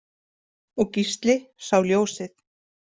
Og Gísli sá ljósið.